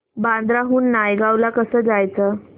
बांद्रा हून नायगाव ला कसं जायचं